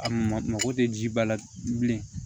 A mago tɛ ji ba la bilen